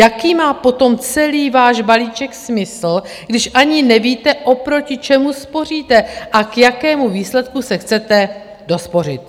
Jaký má potom celý váš balíček smysl, když ani nevíte, oproti čemu spoříte a k jakému výsledku se chcete dospořit?